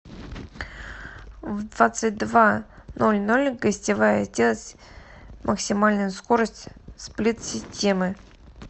в двадцать два ноль ноль гостевая сделать максимальную скорость сплит системы